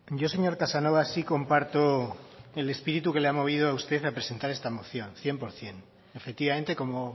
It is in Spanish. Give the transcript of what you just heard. yo señor casanova sí comparto el espíritu que le ha movido a usted a presentar esta moción cien por ciento efectivamente como